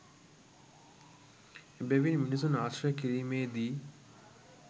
එබැවින් මිනිසුන් ආශ්‍රය කිරීමේදී